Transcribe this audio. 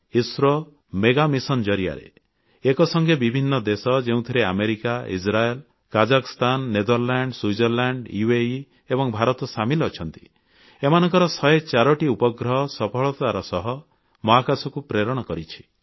ISRO mega mission ଜରିଆରେ ଏକ ସଙ୍ଗେ ବିଭିନ୍ନ ଦେଶ ଯେଉଁଥିରେ America Israel Kazakhstan Netherland Switzerland UAE ଏବଂ ଭାରତ ସାମିଲ ଅଛନ୍ତି ଏମାନଙ୍କର 104ଟି ଉପଗ୍ରହ ସଫଳତାର ସହ ମହାକାଶକୁ ପ୍ରେରଣ କରିଛି